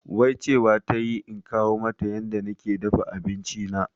Wai cewa tayi in koya mata yanda nake dafa abinci na